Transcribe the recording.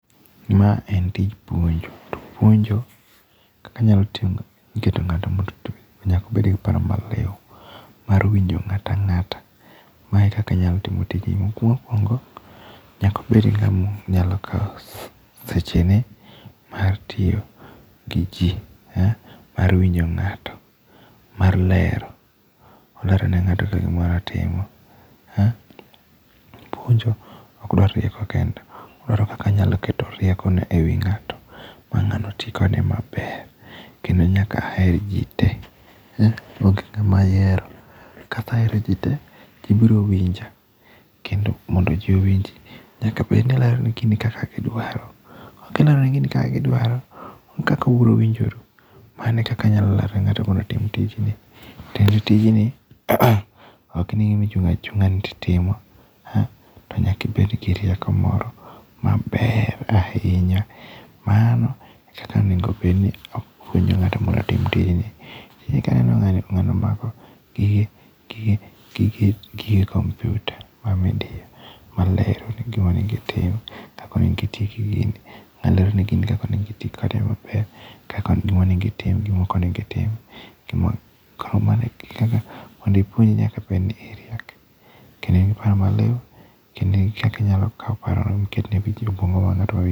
Ma en tij puonjo. To puonjo kaka anyalo timo, iketo ng'ato moro to nyaka obed gi paro maliw mar winjo ng'at ang'ata. Mae kaka anyalo timo tijni. Mokuongo, nyaka obed ni ng'ama nyalo kao seche ne mar tiyo gi ji, mar winjo ng'ato, mar lero. Olero ne ng'ato kaka gimoro otimo. Puonjo okdwar rieko kende. Odwaro kaka inyalo keto rieko no e wi ng'ato ma ng'ano ti kode maber kendo nyaka aher ji te. Ok ng'ama ayiero. Kasehero ji te, tibiro winja. Kendo mondo ji owinj nyaka bed ni ilero ne gini kaka gidwaro. Kok ilero ne gini kaka gidwaro onge kaka ubiro winjoru. Mano e kaka anyalo lero ne ng'ato mondo otim tijni. Tie ni tijni ok ni gima ichung' achung'a titimo. To nyaka ibed gi rieko moro maber ahinya. Mano e kaka onego obed ni apuonjo ng'ato mondo otim tijni. Kendo kaneno ng'ani, ng'ano mako gige, gige, gige computer ma midiyo maler, gima onego itim, kaka onego iti gi gini. Ng'ano lero ni gi kaka onego iti kode maber, gima onego itim, gima ok onego itim. Gima, mondo ipuonj nyaka be iriek, kendo in gi paro maliw, kendo in gi kaka inyalo kao paro no miket ne...